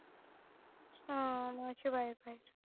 अह नावाची बायको आहेत